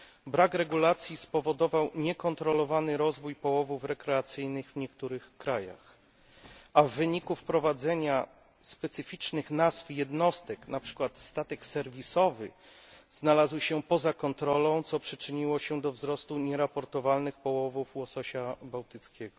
Brak regulacji spowodował niekontrolowany rozwój połowów rekreacyjnych w niektórych krajach, a w wyniku wprowadzenia specyficznych nazw jednostek, np. statek serwisowy, znalazły się one poza kontrolą, co przyczyniło się do wzrostu nieraportowalnych połowów łososia bałtyckiego.